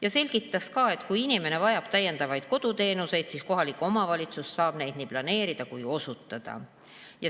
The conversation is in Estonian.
Ta selgitas ka, et kui inimene vajab täiendavaid koduteenuseid, siis kohalik omavalitsus saab neid nii planeerida kui ka osutada.